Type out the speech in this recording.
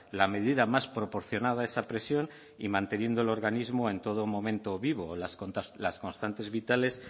la medida más proporcionada a esa presión y manteniendo el organismo en todo momento vivo las constantes vitales